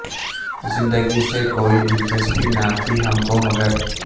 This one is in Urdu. زندگی سے کوئی دلچسپی نہ تھی ہم کو مگر